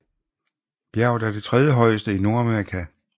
Bjerget er det tredjehøjeste i Nordamerika